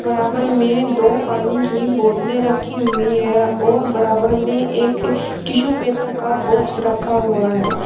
बराबर में दो पानी की बोतलें रखी हुई हैं और बराबर में एक टिश्यू पेपर का बॉक्स रखा हुआ है।